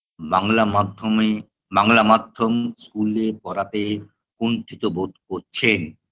বাংলা মাধ্যমে বাংলা মাধ্যম school -এ পড়াতে কুন্ঠিত বোধ করছেন